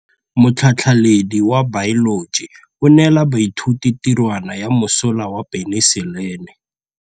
Motlhatlhaledi wa baeloji o neela baithuti tirwana ya mosola wa peniselene.